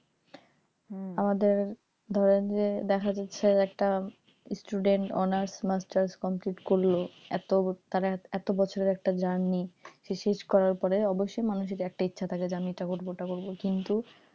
আমাদের ধরেন যে দেখা যাচ্ছে যে student honours masters complete করলো তার তার এত বছরের একটা journey সে শেষ করার পরে তার একটাই ইচ্ছা থাকে যে আমি এটা করো ওটা করবো কিন্তু,